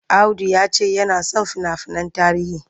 Audu ya ce yana son fina-finan tarihi.